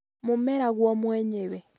mũmera guo mwenyewe